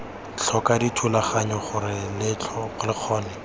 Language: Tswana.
tlhoka dithulaganyo gore lo kgone